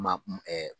Ma